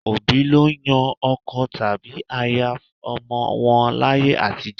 Òbí ló ń yan ọkọ tàbí aya fún ọmọ wọn láyé àtijọ́.